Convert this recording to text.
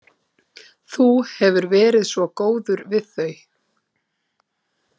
Þú hefur verið svo góður við þau.